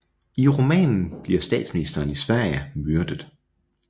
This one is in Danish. I romanen bliver statsministeren i Sverige myrdet